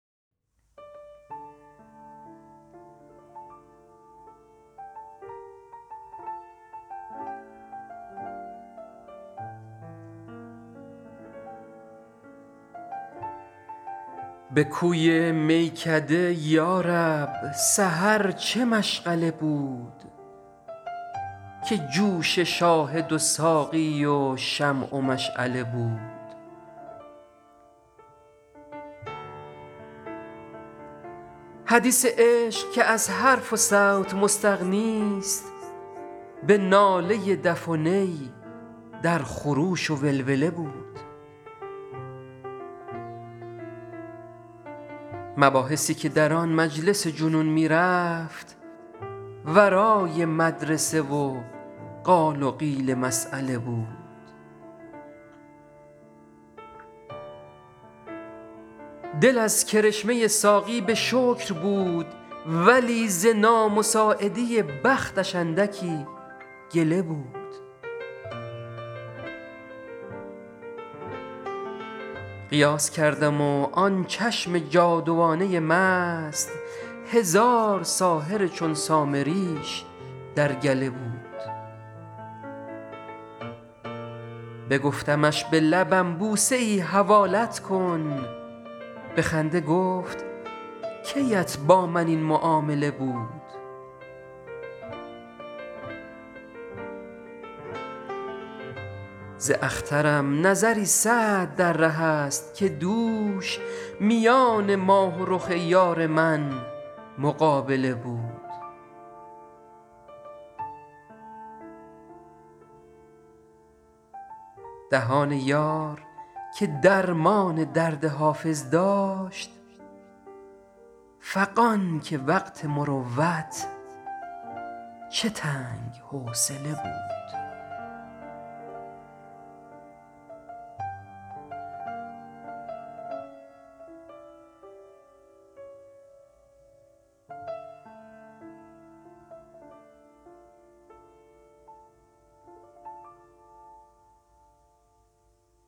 به کوی میکده یا رب سحر چه مشغله بود که جوش شاهد و ساقی و شمع و مشعله بود حدیث عشق که از حرف و صوت مستغنیست به ناله دف و نی در خروش و ولوله بود مباحثی که در آن مجلس جنون می رفت ورای مدرسه و قال و قیل مسأله بود دل از کرشمه ساقی به شکر بود ولی ز نامساعدی بختش اندکی گله بود قیاس کردم و آن چشم جادوانه مست هزار ساحر چون سامریش در گله بود بگفتمش به لبم بوسه ای حوالت کن به خنده گفت کی ات با من این معامله بود ز اخترم نظری سعد در ره است که دوش میان ماه و رخ یار من مقابله بود دهان یار که درمان درد حافظ داشت فغان که وقت مروت چه تنگ حوصله بود